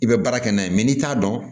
I bɛ baara kɛ n'a ye n'i t'a dɔn